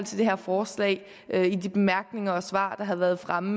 det her forslag i de bemærkninger og svar der har været fremme